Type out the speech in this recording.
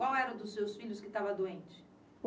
Qual era o dos seus filhos que estava doente?